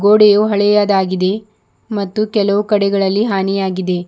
ಗೋಡೆಯು ಹಳೆಯದಾಗಿದೆ ಮತ್ತು ಕೆಲವು ಕಡೆಗಳಲ್ಲಿ ಹಾನಿಯಾಗಿದೆ.